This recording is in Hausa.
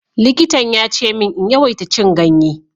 Likitan ya ce min in yawaita cin ganye.